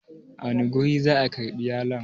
a wane guri za a karbi yalon?